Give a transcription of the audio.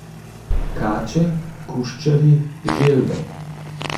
Kače, kuščarji, želve.